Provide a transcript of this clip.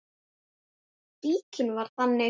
Fíknin var þannig.